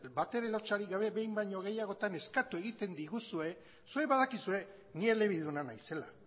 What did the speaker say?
batere lotsarik gabe behin baino gehiagotan eskatu egiten diguzue zuek badakizue ni elebiduna naizela